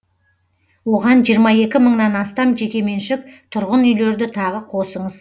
оған жиырма екі мыңнан астам жекеменшік тұрғын үйлерді тағы қосыңыз